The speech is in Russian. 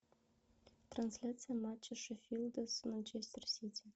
трансляция матча шеффилда с манчестер сити